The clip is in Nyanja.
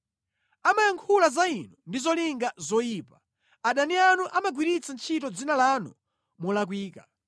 Amayankhula za Inu ndi zolinga zoyipa; adani anu amagwiritsa ntchito dzina lanu molakwika.